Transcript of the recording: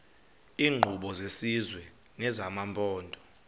iinkqubo zesizwe nezamaphondo